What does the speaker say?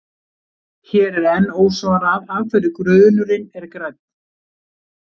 Hér er enn ósvarað af hverju grunurinn er grænn.